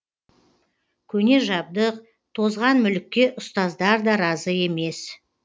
көне жабдық тозған мүлікке ұстаздар да разы емес